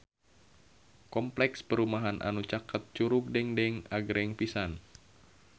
Kompleks perumahan anu caket Curug Dengdeng agreng pisan